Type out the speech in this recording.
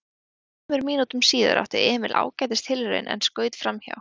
Þremur mínútum síðar átti Emil ágætis tilraun en skaut framhjá.